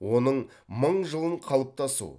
оның мың жылын қалыптасу